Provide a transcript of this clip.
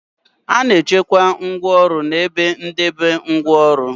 A na-echekwa ngwaọrụ n' ebe ndebe ngwaọrụ.